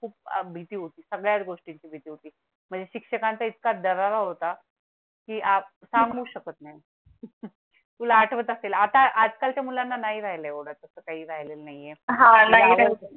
खूप भीती होती. सगळ्या गोष्टी ची भीती होती म्हणजे शिक्षकांचा इतका दरारा होता की आपण सांगू शकत नाही तुला आठवत असेल आता आजकालच्या मुलांना नाही राहिला येवाढ़ तसं काही राहिलं नाही ये.